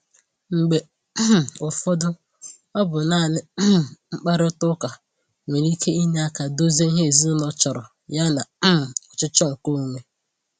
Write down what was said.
Mgbe um ụfọdụ, ọ bụ naanị um mkparịta ụka nwere ike inye aka dozie ihe ezinụlọ chọrọ yana um ọchịchọ nke onwe